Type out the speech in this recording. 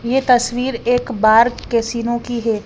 ये तस्वीर एक बार केसीनो की है।